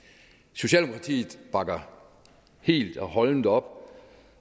socialdemokratiet bakker helt og holdent op